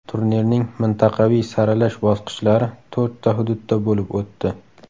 Turnirning mintaqaviy saralash bosqichlari to‘rtta hududda bo‘lib o‘tdi.